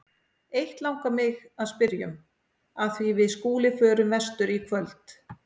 Eitt langar mig að spyrja um, af því við Skúli förum vestur í kvöld.